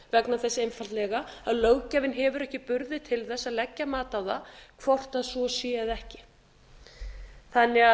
vegna þess einfaldlega að löggjafinn hefur ekki burði til þess að leggja mat á það hvort svo sé eða